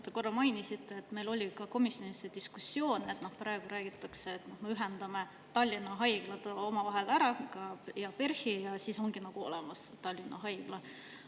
Te korra mainisite, et meil oli ka komisjonis see diskussioon, et praegu räägitakse, et me ühendame omavahel Tallinna haiglad ja PERH‑i ja siis ongi nagu Tallinna Haigla olemas.